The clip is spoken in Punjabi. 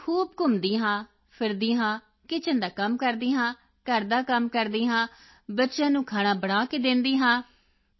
ਮੈਂ ਖੂਬ ਘੁੰਮਦੀ ਹਾਂ ਫਿਰਦੀ ਹਾਂ ਕਿਚਨ ਦਾ ਕੰਮ ਕਰਦੀ ਹਾਂ ਘਰ ਦਾ ਕੰਮ ਕਰਦੀ ਹਾਂ ਬੱਚਿਆਂ ਨੂੰ ਖਾਣਾ ਬਣਾ ਕੇ ਦਿੰਦੀ ਹਾਂ